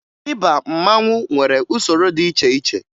Ịba mmanwụ nwere usoro dị iche iche